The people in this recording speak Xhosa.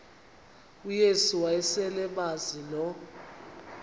uyesu wayeselemazi lo